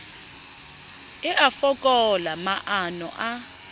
e a fokola maano a